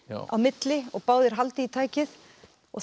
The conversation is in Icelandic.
á milli og báðir halda í tækið og